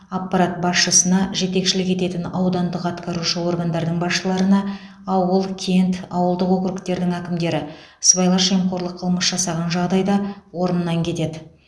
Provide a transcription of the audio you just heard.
аппарат басшысына жетекшілік ететін аудандық атқарушы органдардың басшыларына ауыл кент ауылдық округтердің әкімдері сыбайлас жемқорлық қылмыс жасаған жағдайда орнынан кетеді